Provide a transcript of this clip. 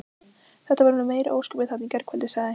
Þetta voru nú meiri ósköpin þarna í gærkvöldi sagði